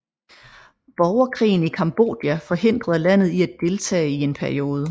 Borgerkrigen i Cambodja forhindrede landet i at deltage i en periode